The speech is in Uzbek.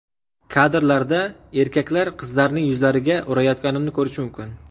Kadrlarda erkaklar qizlarning yuzlariga urayotganini ko‘rish mumkin.